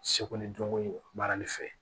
Seko ni dɔnko in baarali fɛ